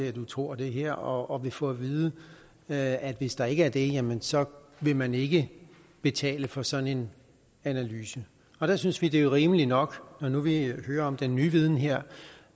at du tror det her og kvinden vil få at vide at at hvis der ikke er det jamen så vil man ikke betale for sådan en analyse der synes vi det er rimeligt nok når nu vi hører om den nye viden her